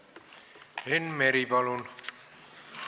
Enn Meri, palun!